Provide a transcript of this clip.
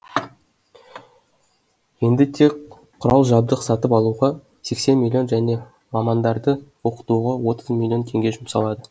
енді тек құрал жабдық сатып алуға сексен миллион және мамандарды оқытуға отыз миллион теңге жұмсалады